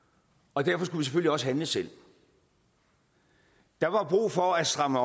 og derfor skulle vi selvfølgelig også handle selv der var brug for at stramme